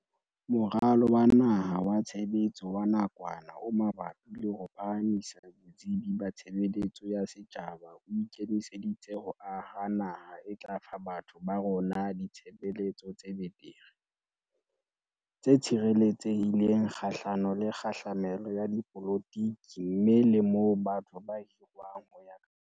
Moralo wa Naha wa Tshe betso wa Nakwana o Mabapi le ho Phahamisa Botsebi ba Tshebeletso ya Setjhaba o ike miseditse ho aha naha e tla fa batho ba rona ditshebeletso tse betere, tse tshireletsehi leng kgahlano le kgahlamelo ya dipolotiki mme le moo batho ba hirwang ho ya ka makgabane a bona.